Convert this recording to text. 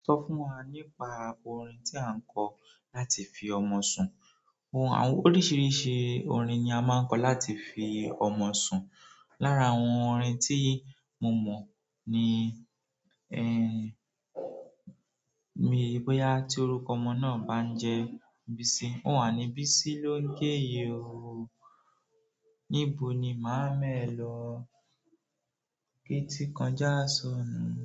Sọ fún wa nípa orin tí a ń kọ láti fi ọmọ sùn. Àwọn oríṣiríṣi orin ni a máa ń kọ láti fi ọmọ sùn. Lára àwọn òrin tí mo mọ̀ ní ni bóyá ti orúkọ ọmọ náà bá ń jẹ́ Bisi, un ò wa ni "bisi ló ń ké yi o, níbo ni máa ma e lọ, títí kọjá soni"